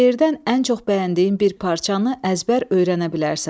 Şeirdən ən çox bəyəndiyin bir parçanı əzbər öyrənə bilərsən.